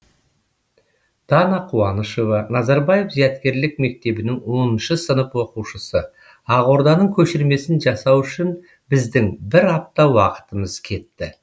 дана қуанышева назарбаев зияткерлік мектебінің оныншы сынып оқушысы ақорданың көшірмесін жасау үшін біздің бір апта уақытымыз кетті